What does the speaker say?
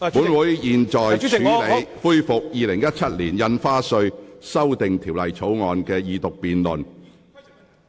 本會現在恢復《2017年印花稅條例草案》的二讀辯論。